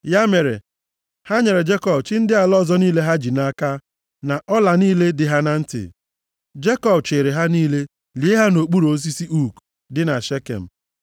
Ya mere, ha nyere Jekọb chi ndị ala ọzọ niile ha ji nʼaka, na ọla + 35:4 Nʼoge ahụ, ndị mmadụ kwenyere na ọlantị ha na-eyi bụ ihe na-echekwa ha. niile dị ha na ntị. Jekọb chịịrị ha niile lie ha nʼokpuru osisi ook dị na Shekem.